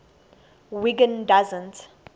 wiggin doesn t